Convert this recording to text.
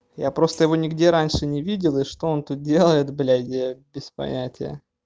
я просто его нигде раньше не видел и что он тут делает блядь я без понятия